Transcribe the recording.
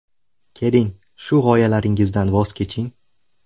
Keling, shu g‘oyalaringizdan voz keching.